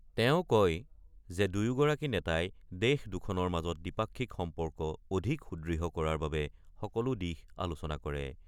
তেওঁ কয় যে দুয়োগৰাকী নেতাই দেশৰ দুখনৰ মাজত দ্বিপাক্ষিক সম্পৰ্ক অধিক সুদৃঢ় কৰাৰ বাবে সকলো দিশ আলোচনা কৰে।